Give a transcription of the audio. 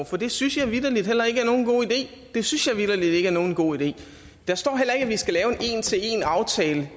for det synes jeg vitterlig heller ikke er nogen god idé det synes jeg vitterlig ikke er nogen god idé der står heller ikke at vi skal lave en en til en aftale